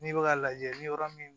N'i bɛ k'a lajɛ ni yɔrɔ min